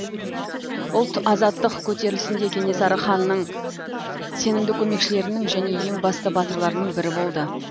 ұлт азаттық көтерілісінде кенесары ханның сенімді көмекшілерінің және ең басты батырларының бірі болды